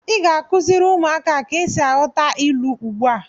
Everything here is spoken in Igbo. Ị ga-akụziri ụmụaka a ka esi aghọta ilu ugbu a!